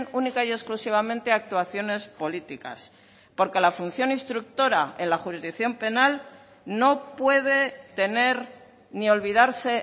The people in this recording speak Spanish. única y exclusivamente a actuaciones políticas porque la función instructora en la jurisdicción penal no puede tener ni olvidarse